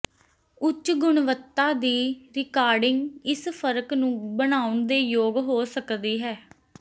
ਉੱਚ ਗੁਣਵੱਤਾ ਦੀ ਰਿਕਾਰਡਿੰਗ ਇਸ ਫਰਕ ਨੂੰ ਬਣਾਉਣ ਦੇ ਯੋਗ ਹੋ ਸਕਦੀ ਹੈ